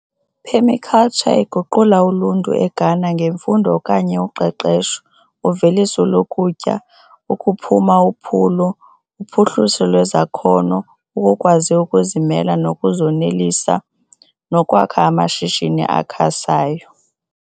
Phemikaltsha iguqula uluntu eGhana ngemfundo okanye uqeqesho, uveliso lokutya, ukuphuma uphulo, uphuhliso lwezakhono, ukukwazi ukuzimela nokuzonelisa, nokwakho amashishini asakhasayo.